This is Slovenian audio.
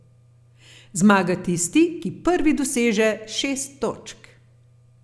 Zmaga tisti, ki prvi doseže šest točk.